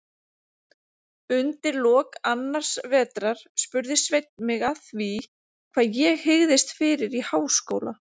Undir lok annars vetrar spurði Sveinn mig að því, hvað ég hygðist fyrir í háskóla.